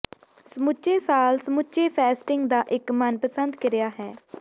ਸਮੁੱਚੇ ਸਾਲ ਸਮੁੱਚੇ ਫੈਸਟਿੰਗ ਦਾ ਇੱਕ ਮਨਪਸੰਦ ਕਿਰਿਆ ਹੈ